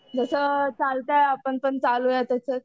जसं चालतंय आपण पण चालवूया तसंच.